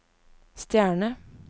stjerne